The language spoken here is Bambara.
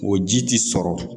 O ji ti sɔrɔ